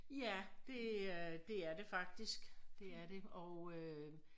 Ja det øh det er det faktisk. Dét er det og øh